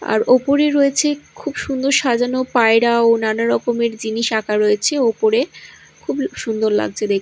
আর ওপরে রয়েছে খুব সুন্দর সাজানো পায়রা ও নানা রকমের জিনিস আঁকা রয়েছে ওপরে খুব সুন্দর লাগছে দেখতে।